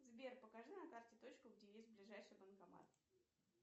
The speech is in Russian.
сбер покажи на карте точку где есть ближайший банкомат